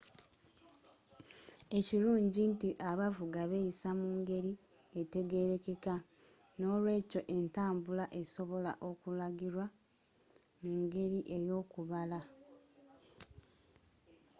ekirungi nti abavuga beeyisa mu ngeri etegerekeka n'olwekyo entambula esobola okulagirwa mu ngeri ey'okubala